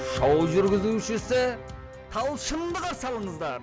шоу жүргізушісі талшынды қарсы алыңыздар